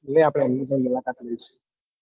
એટલે આપડે એમની પણ મુલાકાત લઈશુ.